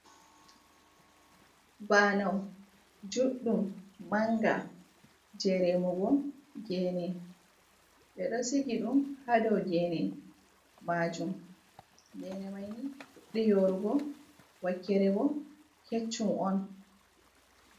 Banau juddum manga je remugo gene, ɓe ɗo sigi ɗum ha dow gene majum, gene maini fuddi yorugo wakkere bo keccum on.